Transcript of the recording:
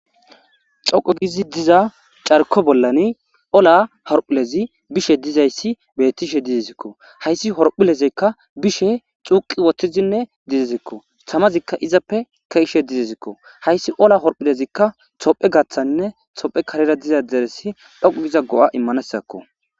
Xoqo gizi diza carko bollani ola horphulezi bishe dizayssi bettishe dizezikko hayssi horphilezekka bishe xuuqi woththizinne dizezikko samazikka izappe keishe dizezikko hayssi ola horphilezikka tophe gaththaninne tophe karera diza deresi dhoqo giza go7a immanesakko.